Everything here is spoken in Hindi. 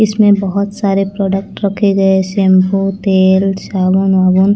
इसमें बहोत सारे प्रोडक्ट रखे गये सेम्पू तेल साबुन-वाबुन--